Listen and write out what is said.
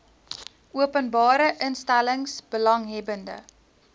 openbare instellings belanghebbende